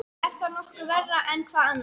Er það nokkuð verra en hvað annað?